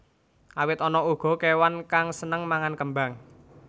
Awit ana uga kéwan kang sênêng mangan kêmbang